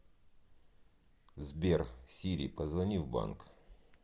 сбер сири позвони в банк